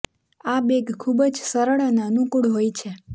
આ બેગ ખૂબ જ સરળ અને અનુકુળ હોય છે